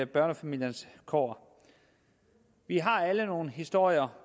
børnefamiliernes kår vi har alle nogle historier